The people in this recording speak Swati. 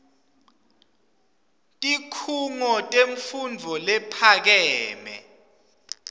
tikhungo temfundvo lephakeme